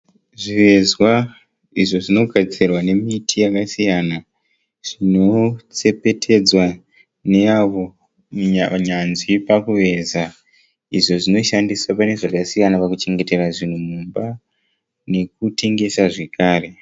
Zvivezwa izvo zvinogadzirwa nemiti yakasiyana siyana. Zvinotsepetedzwa neavo nyanzvi pakuveza izvo zvinoshandiswa pane zvakasiyana pakuchengetera zvinhu mumba nekutengesa zvekare